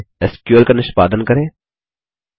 अतः चलिए एसक्यूएल का निष्पादन करें